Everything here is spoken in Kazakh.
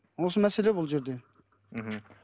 осы мәселе бұл жерде мхм